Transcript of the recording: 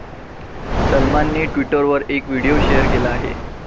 सलमानने ट्विटरवर एक व्हिडीओ शेअर केला आहे.